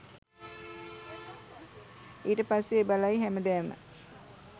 ඊට පස්සේ බලයි හැමදාම